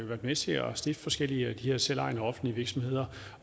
været med til at stifte forskellige af de her selvejende offentlige virksomheder